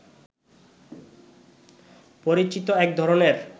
পরিচিত একধরনের